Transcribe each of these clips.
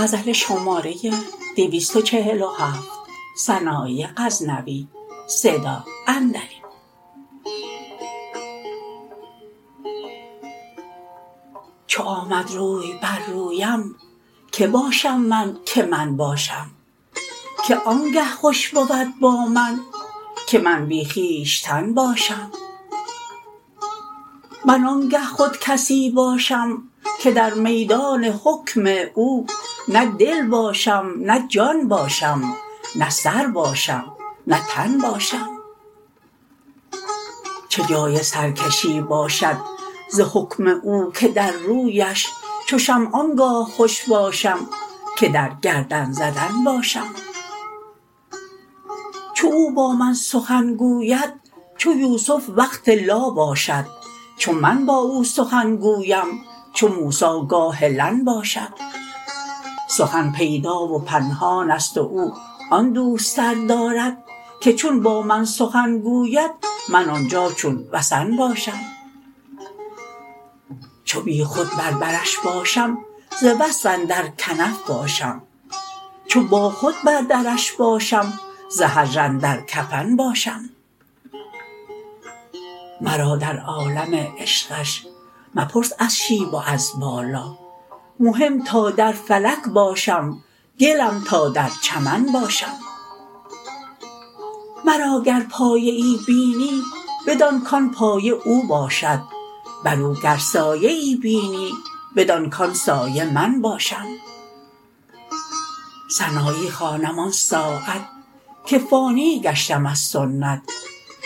چو آمد روی بر رویم که باشم من که من باشم که آنگه خوش بود با من که من بی خویشتن باشم من آنگه خود کسی باشم که در میدان حکم او نه دل باشم نه جان باشم نه سر باشم نه تن باشم چه جای سرکشی باشد ز حکم او که در رویش چو شمع آنگاه خوش باشم که در گردن زدن باشم چو او با من سخن گوید چو یوسف وقت لا باشد چو من با او سخن گویم چو موسی گاه لن باشم سخن پیدا و پنهان ست و او آن دوستر دارد که چون با من سخن گوید من آنجا چون وثن باشم چو بیخود بر برش باشم ز وصف اندر کنف باشم چو با خود بر درش باشم ز هجر اندر کفن باشم مرا در عالم عشقش مپرس از شیب و از بالا مهم تا در فلک باشم گلم تا در چمن باشم مرا گر پایه ای بینی بدان کان پایه او باشد بر او گر سایه ای بینی بدان کان سایه من باشم سنایی خوانم آن ساعت که فانی گشتم از سنت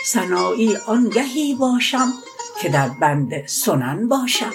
سنایی آنگهی باشم که در بند سنن باشم